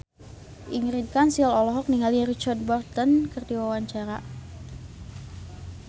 Ingrid Kansil olohok ningali Richard Burton keur diwawancara